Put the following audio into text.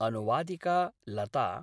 अनुवादिका लता